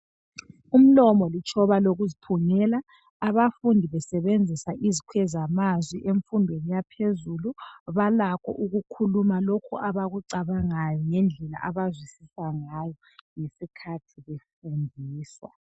umlomo litshoba lokuziphungela abafundi besebenzisa izikwezamazwi emfundweni yaphezulu balakho ukukhuluma lokhu abakucabangayo ngendlela abazwisisa ngayo ngesikhathi befundiswa